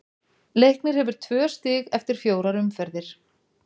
Leiknir hefur tvö stig eftir fjórar umferðir.